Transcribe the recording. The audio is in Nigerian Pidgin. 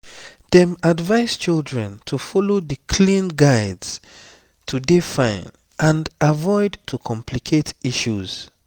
dem advise children to follow di clean guides to dey fine and avoid to complicate issues